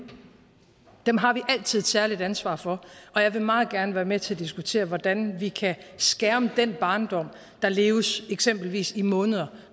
dem har vi altid et særligt ansvar for og jeg vil meget gerne være med til at diskutere hvordan vi kan skærme den barndom der leves eksempelvis i måneder